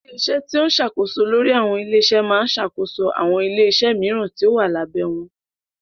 Ilé-iṣẹ́ tí ó ṣàkóso lórí àwọn ilé iṣẹ́ máa ń ṣàkóso àwọn ilé-iṣẹ́ mìíràn tí ó wà ní abé wọn.